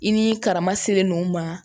I ni karama selen no ma